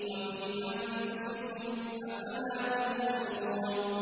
وَفِي أَنفُسِكُمْ ۚ أَفَلَا تُبْصِرُونَ